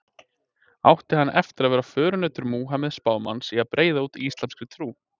Átti hann eftir að vera förunautur Múhameðs spámanns í að breiða út íslamska trú.